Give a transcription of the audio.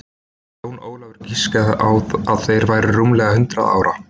Jón Ólafur giskaði á að þeir væru rúmlega hundrað ára